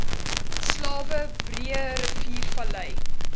slawe breëriviervallei